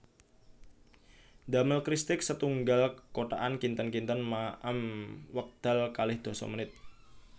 Ndamel kristik setunggal kotakan kinten kinten maem wekdal kalih dasa menit